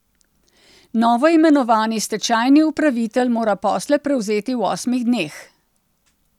Novoimenovani stečajni upravitelj mora posle prevzeti v osmih dneh.